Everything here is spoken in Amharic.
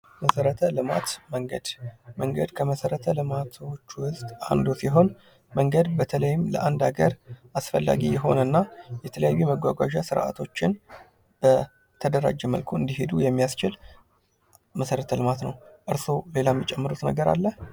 መሠረተ ልማት መንገድ መንገድ ከመሰረተ ልማቶች ውስጥ አንዱ ሲሆን መንገድ በተለይም ለአንድ ሀገር አስፈላጊ የሆነ እና የተለያዩ የመጓጓዣ ስርዓቶችን በተደራጀ መልኩ እንዲሄዱ የሚያስችል መሰረተ ልማት ነው ።እርስዎ ሌላ የሚጨምሩት ነገር አለ?